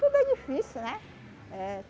Tudo é difícil, né? Eh